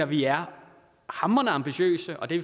vi er hamrende ambitiøse og det